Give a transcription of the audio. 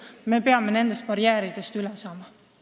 Me peame nendest barjääridest üle saama.